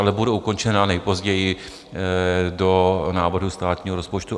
Ale bude ukončena nejpozději do návrhu státního rozpočtu.